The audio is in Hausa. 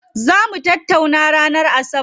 Zaa mu tattaunawa ranar asabar.